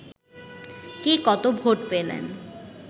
কে কত ভোট পেলেন